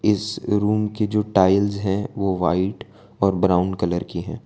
इस रूम के जो टाइल्स है वो वाइट और ब्राउन कलर के है।